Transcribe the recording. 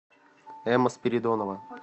эмма спиридонова